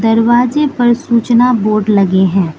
दरवाजे पर सूचना बोर्ड लगे हैं।